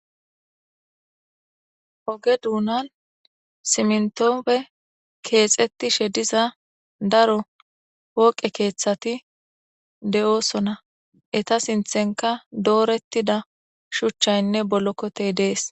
oge duunan simntoofe keexetti shediza daro wooqe keeththati de7oosona eta sinthenka doorettida shuchchaynne bolokkotey dees